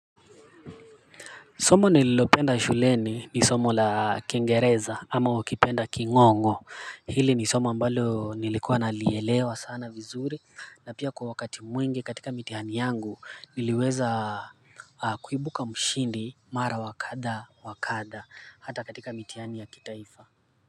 Somo nililopenda shuleni ni somo la kingereza ama ukipenda king'ong'o, hili ni somo ambalo nilikuwa nalielewa sana vizuri na pia kwa wakati mwingi katika mitiani yangu niliweza kuibuka mshindi mara wakada wakada hata katika mitiani ya kitaifa.